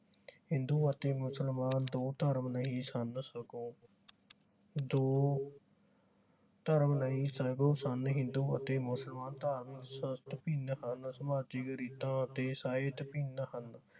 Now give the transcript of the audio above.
ਹਿੰਦੂ ਅਤੇ ਮੁਸਲਮਾਨ ਦੋ ਧਰਮ ਨਹੀਂ ਸਨ ਸਗੋਂ ਦੋ ਧਰਮ ਨਹੀਂ ਸਗੋਂ ਹਿੰਦੂ ਅਤੇ ਮੁਸਲਮਾਨ ਧਾਰਮਿਕ ਸਮਾਜਿਕ ਰੀਤਾਂ ਅਤੇ